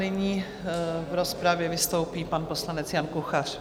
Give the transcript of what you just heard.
Nyní v rozpravě vystoupí pan poslanec Jan Kuchař.